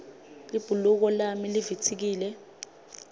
libhuluko lami livitsikile